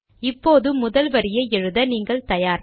இப்போது முதல் வரியை எழுத நீங்கள் தயார்